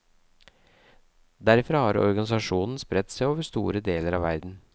Derfra har organisasjonen spredt seg over store deler av verden.